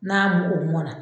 N'a o mɔn na